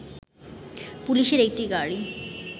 পুলিশের একটি গাড়ি